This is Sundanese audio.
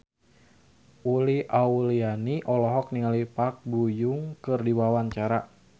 Uli Auliani olohok ningali Park Bo Yung keur diwawancara